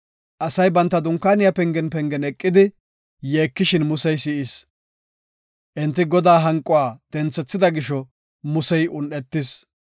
Asay banta dunkaaniya pengen pengen eqidi yeekishin Musey si7is. Enti Godaa hanquwa denthethida gisho, Musey un7etis.